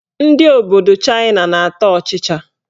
Ndị obodo Chaịna na-ata ọchịchị.